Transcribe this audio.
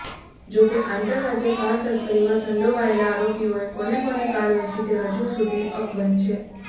જોકે આંતરરાજ્ય કાર તસ્કરીમાં સંડોવાયેલા આરોપીઓએ કોને કોને કાર વેચી તે હજુ સુધી અકબંધ છે